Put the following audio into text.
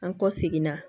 An kɔ seginna